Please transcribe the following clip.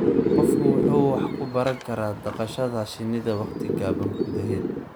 Qofku wuxuu wax ku baran karaa dhaqashada shinnida waqti gaaban gudaheed.